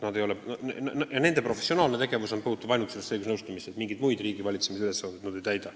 Nende professionaalne tegevus seisneb ainult selles õigusnõustamises, mingeid muid riigivalitsemise ülesandeid nad ei täida.